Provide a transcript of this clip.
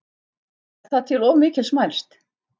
Er það til of mikils mælst?